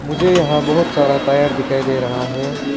मुझे यहां बहुत सारा टायर दिखाई दे रहा है।